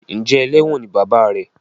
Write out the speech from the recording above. Njé eléwòn ní bàbá rẹ?